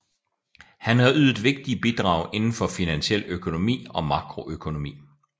Han har ydet vigtige bidrag inden for finansiel økonomi og makroøkonomi